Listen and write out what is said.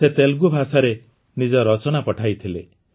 ସେ ତେଲୁଗୁ ଭାଷାରେ ନିଜ ରଚନା ପଠାଇଥିଲେ